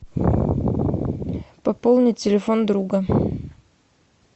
пополнить телефон друга